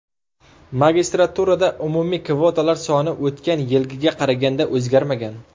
Magistraturada umumiy kvotalar soni o‘tgan yilgiga qaraganda o‘zgarmagan.